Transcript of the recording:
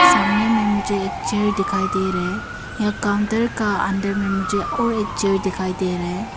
सामने में मुझे एक चेयर दिखाई दे रहा है यहां काउंटर का अंदर में मुझे और एक चेयर दिखाई दे रहा है।